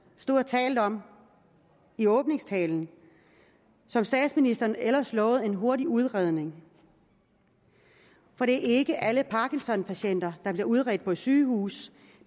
stod og talte om i åbningstalen som statsministeren ellers lovede en hurtig udredning for det er ikke alle parkinson patienter der bliver udredt på et sygehus